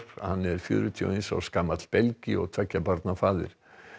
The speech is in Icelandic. hann er fjörutíu og eins árs gamall belgi og tveggja barna faðir